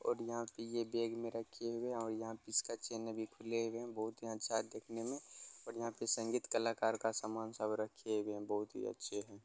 और यहाँ पे ये बैग में रखे हुए है और यहाँ पे इसका चैन भी खुले हुए है। बहोत ही अच्छा है देखने में और यहां पे संगीत कलाकार का सामान सब रखे हुए है बहोत ही अच्छे है।